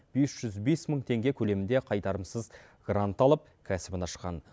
бес жүз бес мың теңге көлемінде қайтарымсыз грант алып кәсібін ашқан